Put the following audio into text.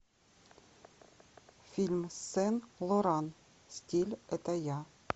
фильм сен лоран стиль это я